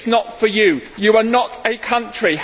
It is not for you you are not a country.